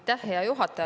Aitäh, hea juhataja!